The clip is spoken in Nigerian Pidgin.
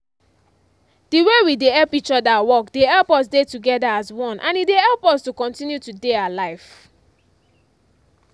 the way we dey help each other work dey help us dey together as one and e dey help us to continue to dey alive.